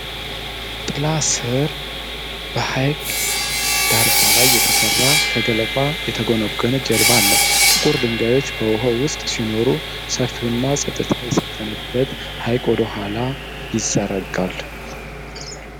ጥላ ስር በሐይቅ ዳርቻ ላይ የተሠራ ከገለባ የተጎነጎነ ጀልባ አለ። ጥቁር ድንጋዮች በውኃው ውስጥ ሲኖሩ ሰፊውና ፀጥታ የሰፈነበት ሐይቅ ወደ ኋላ ይዘረጋል።